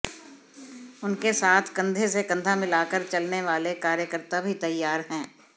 उनके साथ कंधे से कंधा मिलाकर चलने वाले कार्यकर्ता भी तैयार हैं